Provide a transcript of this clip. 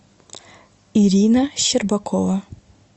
ирина щербакова